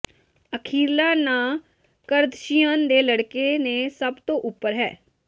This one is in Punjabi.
ਅਖੀਰਲਾ ਨਾਂ ਕਰਦਸ਼ੀਅਨ ਦੇ ਲੜਕੇ ਨੇ ਸਭ ਤੋਂ ਉੱਪਰ ਹੈ